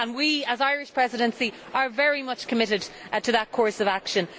We, as the Irish Presidency, are very much committed to that course of action.